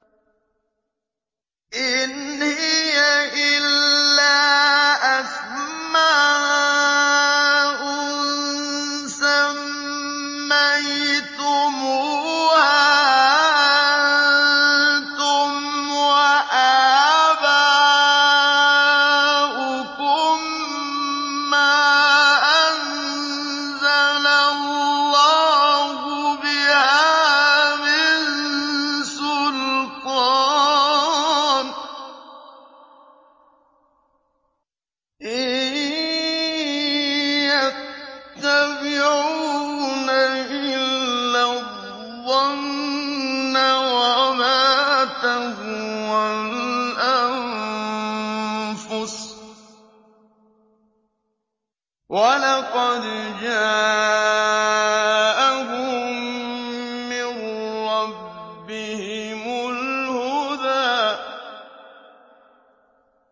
إِنْ هِيَ إِلَّا أَسْمَاءٌ سَمَّيْتُمُوهَا أَنتُمْ وَآبَاؤُكُم مَّا أَنزَلَ اللَّهُ بِهَا مِن سُلْطَانٍ ۚ إِن يَتَّبِعُونَ إِلَّا الظَّنَّ وَمَا تَهْوَى الْأَنفُسُ ۖ وَلَقَدْ جَاءَهُم مِّن رَّبِّهِمُ الْهُدَىٰ